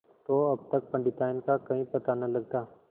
तो अब तक पंडिताइन का कहीं पता न लगता